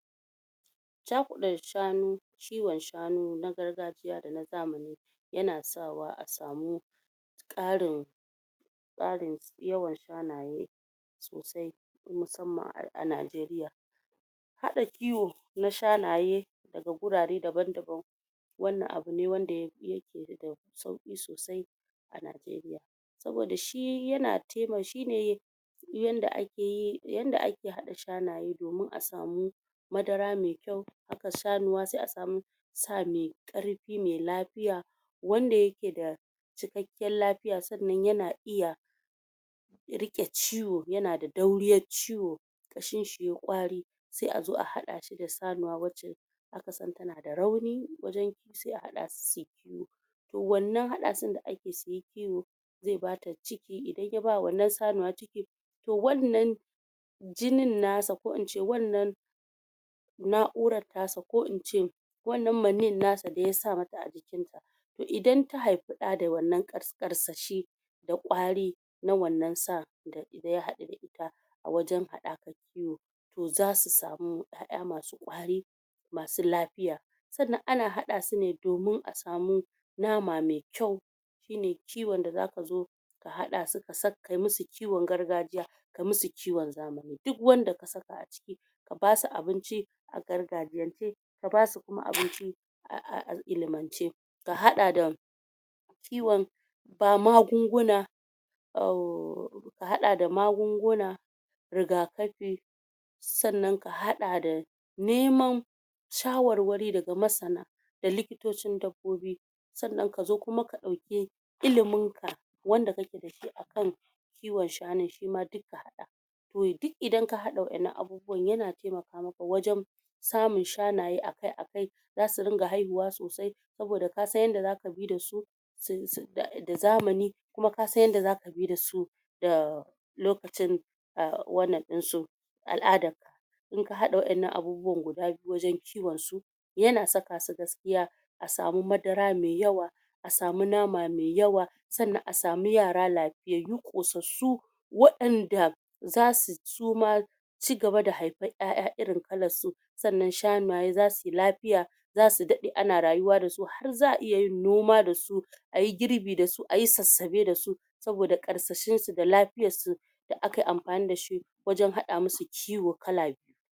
? Cakuɗe shanu,? kiyon shanu na gargajiya da na zamani,? ya na sawa a samu,? ƙarin,? ƙarin yawan shanaye? sosai, musamman a Nigeria.? Haɗa kiwo, na shanaye,? daga gurare daban da ban,? wannan abu ne wanda yake da,? sauki sosai,? a Nigeria.? Saboda shi, ya na taima, shine,? yadda a ke yi, yadda a ke haɗa shanaye domin a samu,? madara mai kyau, haka shanuwa, sai a samu,? sa mai ƙarfi, mai lafiya,? wanda yake da,? cikakkiyar lafiya. Sannan yana iya,? riƙe ciwo, ya na da dauriyar ciwo,? kashin shi ya yi ƙwari,? sai a zo a haɗa shi da sanuwa wacce,? a kasan tana da rauni, wajan, sai a hada su, suyi kiyo.? To wannan hada sun da ake suyi kiyo,? zai bata ciki, idan ya ba wa wannan sanuwan ciki,? to wannan,? jinin nasa, ko ince wannan,? na urar tasa, ko in ce,? wannan manin nasa da yasa mata a jikin ta,? idan ta haifi da da wannan ƙarsashi,? da ƙwari,? na wannan san, ɓɓ da ya hadu da ita, a wajan hadakar kiyo? to zasu samu ƴa ƴa masu ƙwari,? masu lafiya.? Sannan ana hada su ne domin a samu,? nama mai kyau,? shi ne kiyon da za ka zo,? ka hada su kayi musu kiyon gargajiya,? kayi musu kiyon zamani. Duk wanda ka saka a ciki,? ka basu abinci, a gargajiyance, ka basu kuma abinci,? a a ilmance.? Ka hada da,? kiyon,? ga magunguna,? ka hada da magunguna,? rigakafi,? sannan ka hada da,? neman,? shawarwari daga masana,? da likitocin dabbobi.? Sannan kuma kazo ka dauki,? ilimin ka,? wanda kake dashi a kai,? kiyon shanun shi ma duk ka hada,? duk idan ka hada wadannan abubuwan, yana taimaka maka wajan,? samun shanaye a kai a kai,? za su riƙa haihuwa a kai a kai,? saboda kasan yadda zaka bi da su,? da zamani,? kuma kasan yadda zaka bi dasu,? da,? lokacin,? wannan din su,? al'adar ka,? in ka haɗa waɗannan abubuwan guda biyu wajen kiwonsu? yana saka su gaskiya,? a samu madara mai yawa,? a samu nama mai yawa,? sannan a samu yara lafiyyau, kusassu,? wa ƴanda,? zasu suma,? cigaba da haifan ƴaƴa irin kalarsu,? sannan shanaye zasuyi lafiya,? zasu daɗe ana rayuwa da su, har za'a iyayin numa dasu,? a yi gurbi da su, a yi susuɓe da su,? saboda ƙarsashinsu da lafiyarsu,? da aka yi amfani da shi,? wajan haɗa musu kiyo kala biyu.?